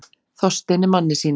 Þorsteini manni sínum.